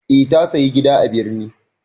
Eh ta sayi gida a birni.